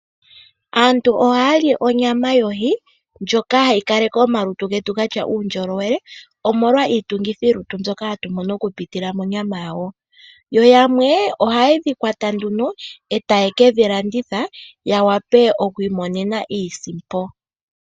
Aantu ohaya li onyama yoohi ndjoka hayi kaleke omalutu getu gatya uundjolowele omolwa iitungithilutu mbyoka hatu mono okupitila monyama yawo, yo yamwe ohaye dhi kwata e taye ke dhilanditha ya wape ya okwiimone iisimpo.